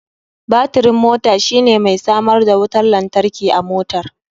Batirin mota shine mai samar da wutar lantarki ga motar.